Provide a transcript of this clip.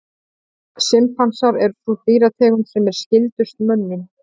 Simpansar er sú dýrategund sem er skyldust mönnum.